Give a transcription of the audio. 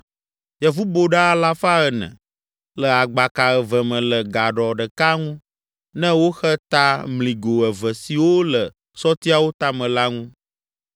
yevuboɖa alafa ene (400) le agbaka eve me le gaɖɔ ɖeka ŋu ne woxe ta mligo eve siwo le sɔtiawo tame la ŋu.